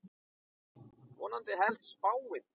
Vonandi helst spáin.